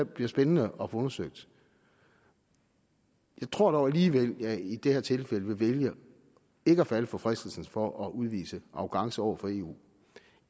bliver spændende at få undersøgt jeg tror dog alligevel jeg i det her tilfælde vil vælge ikke at falde for fristelsen for at udvise arrogance over for eu